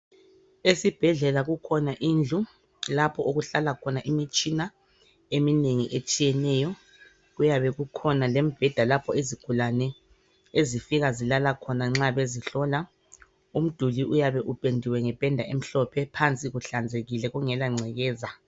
Esibhedlela kukhona indlu lapho okuhlala khona imtshina eminengi etshiyeneyo. Kuyabe kukhona lembheda lapho izigulane ezifika zilala khona nxa bezihlola. Umduli uyabe upendiwe ngependa emhlophe phansi kungela ngcekeza.